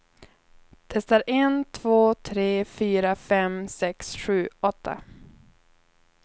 Testar en två tre fyra fem sex sju åtta.